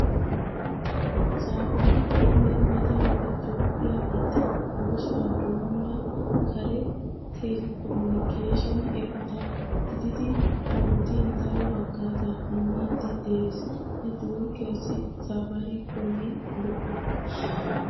Saafaarikoomee mata wode Toophphiyaa biittan oosuwaa doommida kare teelekominikeeshine eqota gididi ha wodiyan daro hagaazaa immiiddi de"ees. Netiworkkiyaassi saafaarikoomee lo'o.